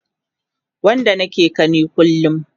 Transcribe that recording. Wanda nake gani kullum